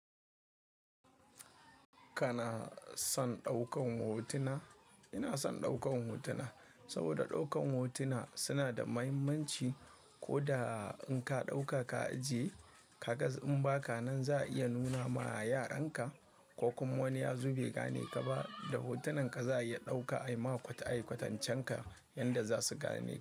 Kana son ɗaukan hotuna? Ina son ɗaukan hotuna saboda ɗaukan hotuna suna da mahimmanci. Ko da in ka ɗauka ka ajiye, ka ga in ba ka nan za a iya nuna ma yaranka ko kuma wani ya zo bai gane ka ba, da hotunan ka za a iya ɗauka a yi ma ayi kwatancen ka yanda za su gane.